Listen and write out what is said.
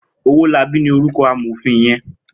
Owolabi ni órúkò àmófin yèn